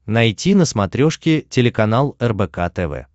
найти на смотрешке телеканал рбк тв